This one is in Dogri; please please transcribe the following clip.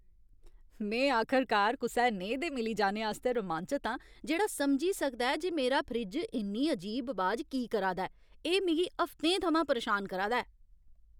में आखरकार कुसै नेहे दे मिली जाने आस्तै रोमांचत आं जेह्ड़ा समझी सकदा ऐ जे मेरा फ्रिज इन्नी अजीब अबाज की करा दा ऐ एह् मिगी हफ्तें थमां परेशान करा दा ऐ!